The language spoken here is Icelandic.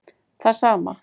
Það sama